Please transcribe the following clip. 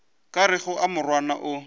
ka rego a morwana o